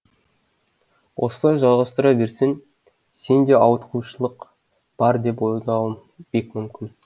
осылай жалғастыра берсең сенде ауытқушылық бар деп ойлауым бек мүмкін